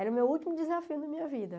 Era o meu último desafio da minha vida.